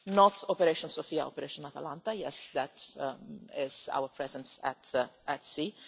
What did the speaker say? Not operation Sophia but Operation Atalanta is our presence at sea